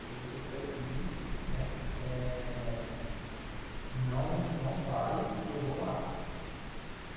Falei, você fica aqui, né, não sai que eu vou lá.